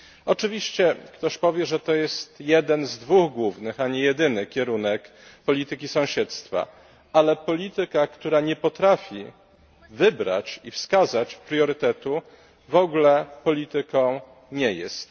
Oczywiście ktoś powie, że to jest jeden z dwóch głównych, a nie jedyny kierunek polityki sąsiedztwa, ale polityka, która nie potrafi wybrać i wskazać priorytetu, w ogóle polityką nie jest.